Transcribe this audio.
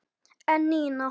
En Nína?